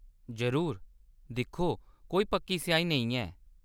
जरूर। दिक्खो, कोई पक्की स्याही नेईं ऐ।